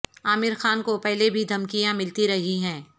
عامر خان کو پہلے بھی دھمکیاں ملتی رہی ہیں